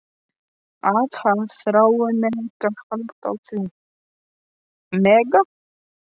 Að hann þrái að mega halda á því.